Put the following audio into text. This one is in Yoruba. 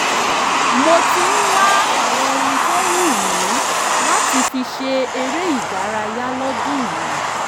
mo ti ń wá àwọn ohun tó wù mí láti fi ṣe eré ìdárayá lọ́dún yìí